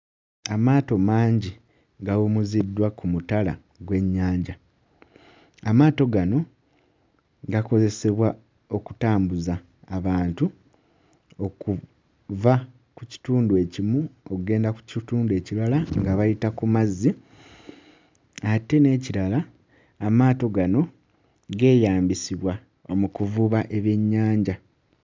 Amaato mangi gawumuziddwa ku mutala gw'ennyanja. Aamato gano gakozesebwa okutambuza abantu okuva ku kitundu ekimu okugenda ku kitundu ekirala nga bayita ku mazzi, ate n'ekirala amaato gano geeyambisibwa mu kuvuba ebyennyaja.